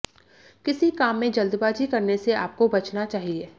किसी काम में जल्दबाजी करने से आपको बचना चाहिए